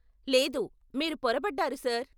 లేదు, మీరు పొరబడ్డారు సార్.